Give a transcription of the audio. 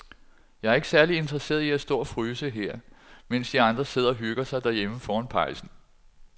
Jeg er ikke særlig interesseret i at stå og fryse her, mens de andre sidder og hygger sig derhjemme foran pejsen.